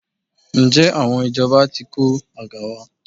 Ǹjẹ́ àwọn ìjọba ti kó àga wá?